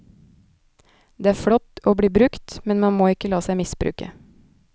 Det er flott å bli brukt, men man må ikke la seg misbruke.